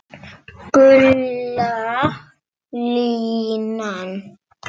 Gula línan.